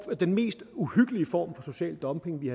den mest uhyggelige form for social dumping vi